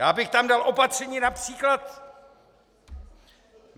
Já bych tam dal opatření například...